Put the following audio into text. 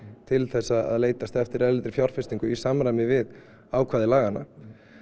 til þess að leitast eftir erlendri fjárfestingu í samræmi við ákvæði laganna